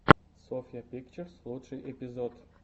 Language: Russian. софья пикчерс лучший эпизод